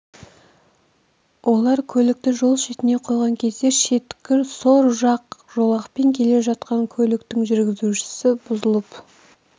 олар көлікті жол шетіне қойған кезде шеткі сол жақ жолақпен келе жатқан көліктің жүргізушісі бұзылып